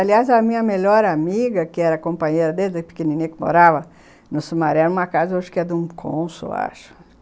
Aliás, a minha melhor amiga, que era companheira desde pequenininha que morava no Sumaré, numa casa, acho que era de um cônsul, acho.